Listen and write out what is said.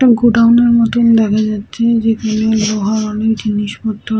একটা গোডাউন এর মতো দেখা যাচ্ছে যেখানে লোহার অনেক জিনিসপত্র।